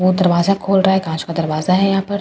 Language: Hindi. वो दरवाजा खोल रहा है कांच का दरवाजा है यहां पर।